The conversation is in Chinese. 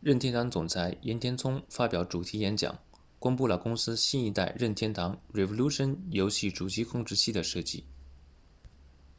任天堂总裁岩田聪发表主题演讲公布了公司新一代任天堂 revolution 游戏主机控制器的设计